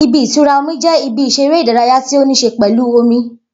Ibi-itura omi jẹ ibi ìseré ìdárayá tí o ní ṣe pẹlú omi